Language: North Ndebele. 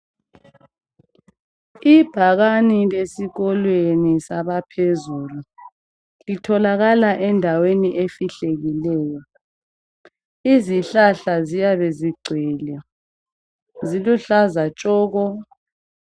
ibhakane lesikolweni saphezulu litholakala endaweni efihlakeleyo izihlahla ziyabe zigcwele ziluhlaza tshoko